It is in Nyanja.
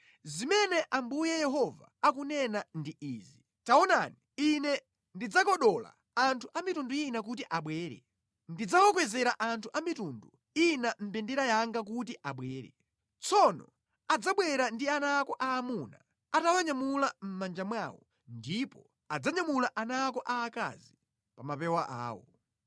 Zimene Ambuye Yehova akunena ndi izi, “Taonani, Ine ndidzakodola Anthu a mitundu ina kuti abwere. Ndidzawakwezera anthu a mitundu ina mbendera yanga kuti abwere. Tsono adzabwera ndi ana ako aamuna atawanyamula mʼmanja mwawo ndipo adzanyamula ana ako aakazi pa mapewa awo.